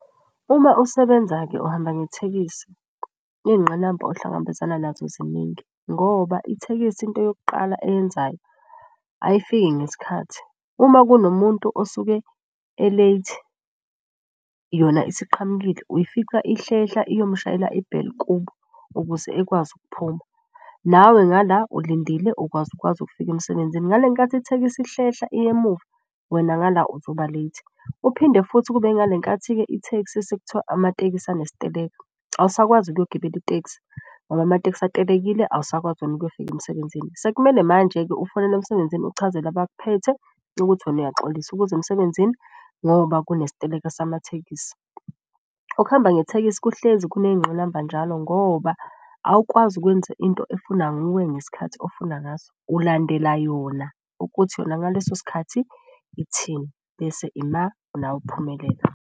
Uma usebenza-ke uhamba ngethekisi, iy'ngqinamba ohlangabezana nazo ziningi. Ngoba ithekisi into yokuqala eyenzayo ayifiki ngesikhathi. Uma kunomuntu osuke e-late, yona isiqhamukile, uyifica ihlehla iyomushayela i-bell kubo ukuze ekwazi ukuphuma. Nawe nga la ulindile ukwazi ukwazi ukufika emsebenzini ngale nkathi ithekisi ihlehla iya emuva, wena nga la uzoba late. Kuphinde futhi kube ingale nkathi-ke itheksi sekuthiwa amatekisi anesiteleka, awusakwazi ukuyogibela iteksi, ngoba amateksi atelekile awusakwazi wena ukuyofika emsebenzini. Sekumele manje-ke ufonele emsebenzini uchazele abakuphethe ukuthi wena uyaxolisa ukuza emsebenzini ngoba kunesiteleka samathekisi. Ukuhamba ngethekisi kuhlezi kuney'ngqinamba njalo ngoba awukwazi ukwenza into efunwa nguwe ngesikhathi ofuna ngaso. Ulandela yona, ukuthi yona ngaleso sikhathi ithini bese ima nawe uphumelela.